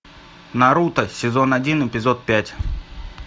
наруто сезон один эпизод пять